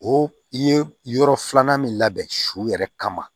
O i ye yɔrɔ filanan min labɛn su yɛrɛ kama